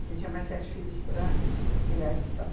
Porque tinha mais sete filhos para es criar e estudar.